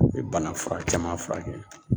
U ye bana fura caman fura kɛ.